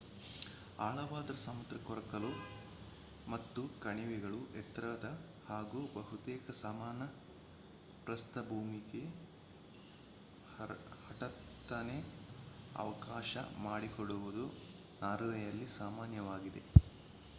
ಆಳವಾದ ಸಮುದ್ರ ಕೊರಕಲು ಮತ್ತು ಕಣಿವೆಗಳು ಎತ್ತರದ ಹಾಗೂ ಬಹುತೇಕ ಸಮಾನ ಪ್ರಸ್ಥಭೂಮಿಗೆ ಹಠಾತ್ತನೆ ಅವಕಾಶ ಮಾಡಿಕೊಡುವುದು ನಾರ್ವೆಯಲ್ಲಿ ಸಾಮಾನ್ಯವಾಗಿದೆ